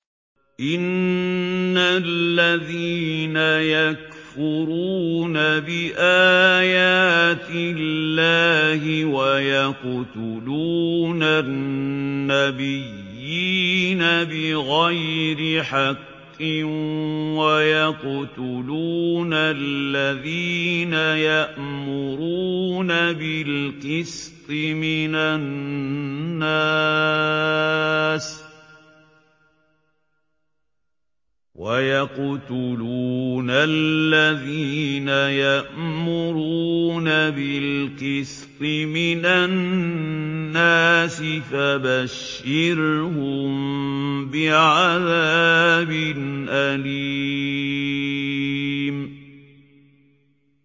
إِنَّ الَّذِينَ يَكْفُرُونَ بِآيَاتِ اللَّهِ وَيَقْتُلُونَ النَّبِيِّينَ بِغَيْرِ حَقٍّ وَيَقْتُلُونَ الَّذِينَ يَأْمُرُونَ بِالْقِسْطِ مِنَ النَّاسِ فَبَشِّرْهُم بِعَذَابٍ أَلِيمٍ